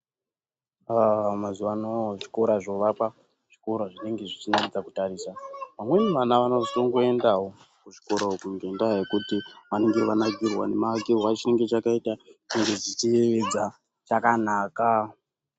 Mazuvano zvikora zvovakwa zvikora zvinenge zvichinakaidza kutarisa. Amweni vana vanozongoendawo kuzvikora uku ngendaa yekuti vanenge vanakirwa nemavakirwe achinenge chakaita, chinenge chichiyevedza, chakanaka.